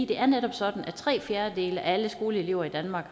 det er netop sådan at tre fjerdedele af alle skoleelever i danmark